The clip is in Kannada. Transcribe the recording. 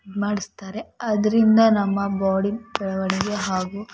ಮಾಡಿಸ್ತಾರೆ ಅದರಿಂದ ನಮ್ಮ ಬಾಡಿ